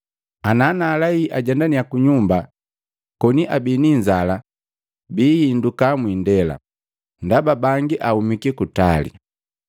Ana naalei ajendannya kunyumba, koni abii ni inzala biinduka mwiindela, ndaba bangi ahumiki kutali.”